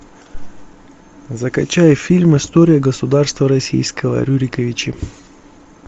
закачай фильм история государства российского рюриковичи